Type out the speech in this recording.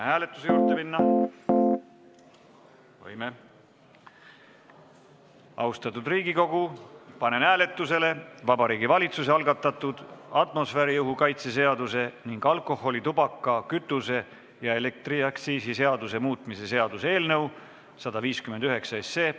Austatud Riigikogu, panen hääletusele Vabariigi Valitsuse algatatud atmosfääriõhu kaitse seaduse ning alkoholi-, tubaka-, kütuse- ja elektriaktsiisi seaduse muutmise seaduse eelnõu 159.